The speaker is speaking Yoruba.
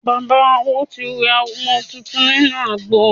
Bàbá Awo ti wẹ ọmọ tuntun nínú àgbo.